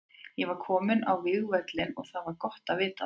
Ég var kominn á vígvöllinn og það var gott að vita það.